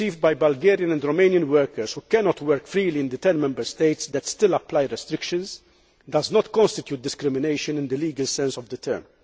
perceived by Bulgarian and Romanian workers who cannot work freely in the ten Member States that still apply restrictions does not constitute discrimination in the legal sense of the term.